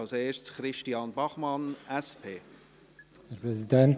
Zuerst spricht Christian Bachmann, SP.